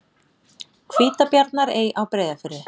Hvítabjarnarey á Breiðafirði.